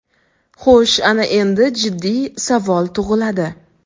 Xo‘sh ana endi jiddiy savol tug‘iladi.